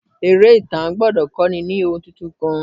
Eré ìtàn gbọ́dọ̀ kọ́ni lóhun tuntun kan.